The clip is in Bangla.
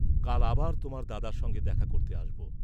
কাল আবার তোমার দাদার সঙ্গে দেখা করতে আসব।